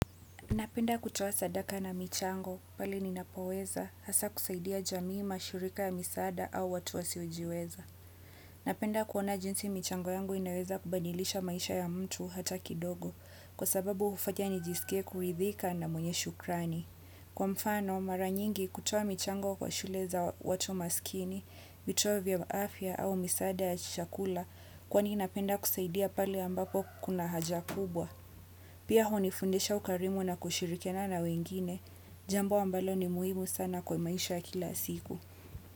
Napenda kutoa sadaka na michango pale ninapo weza hasa kusaidia jamii mashirika ya misaada au watu wasiojiweza. Napenda kuona jinsi michango yangu inaweza kubadilisha maisha ya mtu hata kidogo kwa sababu ufanya nijisikie kuridhika na mwenye shukrani. Kwa mfano mara nyingi kutoa michango kwa shule za watu masikini, vituwa vya afya au misaada ya chakula kwani napenda kusaidia pale ambapo kuna haja kubwa. Pia hunifundisha ukarimu na kushirikiana na wengine, jambo ambalo ni muhimu sana kwa maisha ya kila siku.